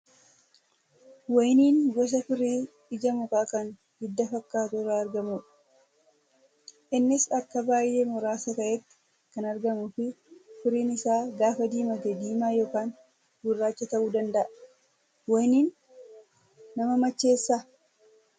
Wayiniin gosa firii ija mukaa kan hidda fakkaatu irraa argamudha. Innis bakka baay'ee muraasa ta'etti kan argamuu fi firiin isaa gaafa diimate diimaa yookaan gurraacha ta'uu danda'a. Wayiniin nama macheessaa?